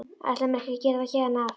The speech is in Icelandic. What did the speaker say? Ætla mér ekki að gera það héðan af.